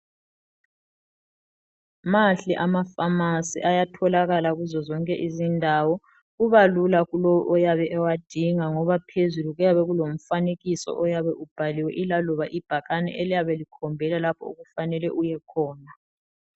Mahle amafamasi ayatholakala kuzo zonke izindawo, kubalula kulowo oyabe ewadinga ngoba phezulu kuyabe kulomfanekiso oyabe ubhaliwe, ilaloba ibhakane eliyabe likhombela lapho okufanele uyekhona.